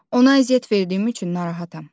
Ona əziyyət verdiyim üçün narahatam.